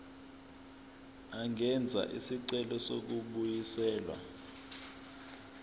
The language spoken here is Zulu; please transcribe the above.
angenza isicelo sokubuyiselwa